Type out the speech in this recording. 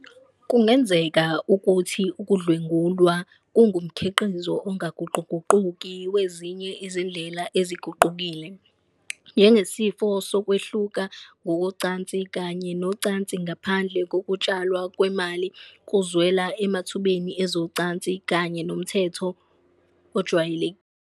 Kungenzeka ukuthi ukudlwengulwa kungumkhiqizo ongaguquguquki wezinye izindlela eziguqukile, njengesifiso sokwehluka ngokocansi kanye nocansi ngaphandle kokutshalwa kwemali, ukuzwela emathubeni ezocansi, kanye nomthamo ojwayelekile.